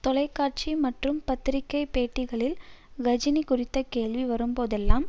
தொலைக்காட்சி மற்றம் பத்திரிகை பேட்டிகளில் கஜினி குறித்த கேள்வி வரும்போதெல்லாம்